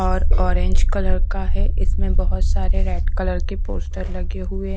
और orange colour का है इसमें बहोत सारे रेड कलर के पोस्टर लगे हुए--